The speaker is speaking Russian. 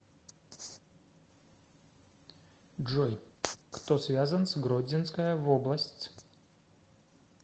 джой кто связан с гродзенская вобласць